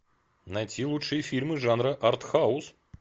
найти лучшие фильмы жанра артхаус